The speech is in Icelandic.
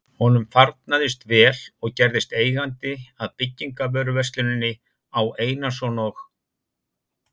Honum farnaðist vel og gerðist eigandi að byggingarvöruversluninni Á. Einarsson og